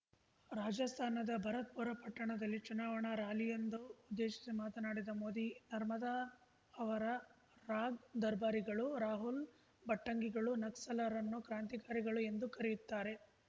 ರಾಜಸ್ಥಾನದ ಭರತ್‌ಪುರ ಪಟ್ಟಣದಲ್ಲಿ ಚುನಾವಣಾ ರಾಲಿಯೊಂದು ಉದ್ದೇಶಿಸಿ ಮಾತನಾಡಿದ ಮೋದಿ ನಾರ್ಮದಾ ಅವರ ರಾಗ್‌ ದರ್ಬಾರಿಗಳು ರಾಹುಲ್‌ ಭಟ್ಟಂಗಿಗಳು ನಕ್ಸಲರನ್ನು ಕ್ರಾಂತಿಕಾರಿಗಳು ಎಂದು ಕರೆಯುತ್ತಾರೆ